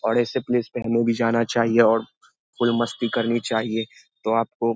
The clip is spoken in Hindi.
और ऐसे प्लेस पे हमें भी जाना चाहिए और फुल मस्ती करनी चाहिए तो आपको --